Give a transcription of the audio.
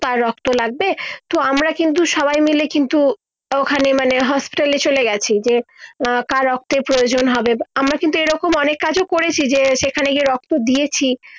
তার রক্ত লাগবে তো আমারা কিন্তু সবাই মিলে কিন্তু ওখানে মানে হোস্টেলে চলে গিছি যে আহ কার রক্তের প্রয়োজন হবে আমরা কিন্তু এই রকম অনেক কাজ করেছি যে সেখানে গিয়ে রক্ত দিয়েছি